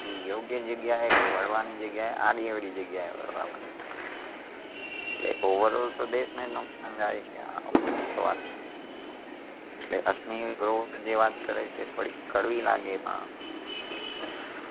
એ યોગ્ય જગ્યાએ વળવાની જગ્યાએ આડીઅવળી જગ્યાએ વળવા મંડયું છે. એટલે overall તો દેશને જ નુકશાન જાય છે આવું બધુ થવાથી . એટલે અશનિર ગ્રોવર જે વાત કરે છે થોડીક કડવી લાગે પણ